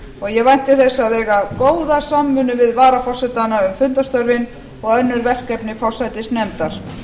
ég vænti þess að eiga góða samvinnu við varaforsetana um fundarstörfin og önnur verkefni